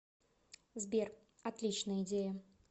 сбер отличная идея